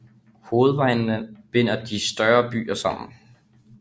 Hovedvejene binder de større byer sammen